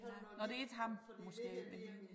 Nåh det ikke ham måske men